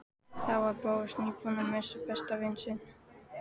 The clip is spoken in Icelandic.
Þá var Bóas nýbúinn að missa besta vin sinn.